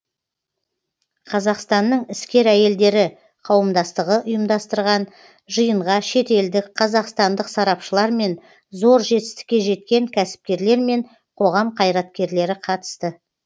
қазақстанның іскер әйелдері қауымдастығы ұйымдастырған жиынға шетелдік қазақстандық сарапшылар мен зор жетістікке жеткен кәсіпкерлер мен қоғам қайраткерлері қатысты